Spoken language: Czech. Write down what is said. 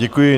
Děkuji.